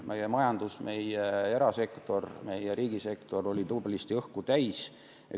Meie majandus, meie erasektor, meie riigisektor olid tublisti õhku täis.